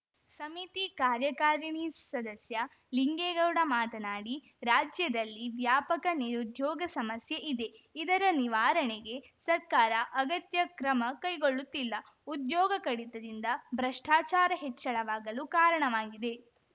ಸಮಿತಿ ಕಾರ್ಯಕಾರಿಣಿ ಸದಸ್ಯ ಲಿಂಗೇಗೌಡ ಮಾತನಾಡಿ ರಾಜ್ಯದಲ್ಲಿ ವ್ಯಾಪಕ ನಿರುದ್ಯೋಗ ಸಮಸ್ಯೆ ಇದೆ ಇದರ ನಿವಾರಣೆಗೆ ಸರ್ಕಾರ ಅಗತ್ಯ ಕ್ರಮ ಕೈಗೊಳ್ಳುತ್ತಿಲ್ಲ ಉದ್ಯೋಗ ಕಡಿತದಿಂದ ಭ್ರಷ್ಟಾಚಾರ ಹೆಚ್ಚಳವಾಗಲು ಕಾರಣವಾಗಿದೆ